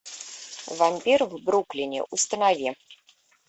вампир в бруклине установи